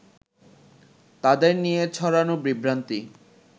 তাদের নিয়ে ছড়ানো বিভ্রান্তি